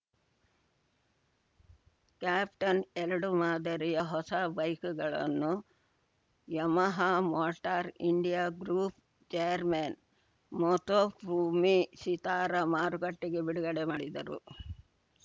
captain ಎರಡು ಮಾದರಿಯ ಹೊಸ ಬೈಕುಗಳನ್ನು Yamaha motor India group chairman Motofumi Shitara ಮಾರುಕಟ್ಟೆಗೆ ಬಿಡುಗಡೆ ಮಾಡಿದರು